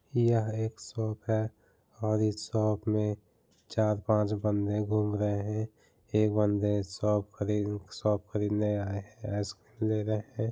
यह एक शॉप है और इस शॉप मे चार पाँच बंदे घूम रहे एक बंदे शॉप खरीदने शॉप खरीदने आए हैं आइसक्रीम ले रहे हैं।